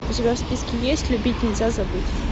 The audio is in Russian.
у тебя в списке есть любить нельзя забыть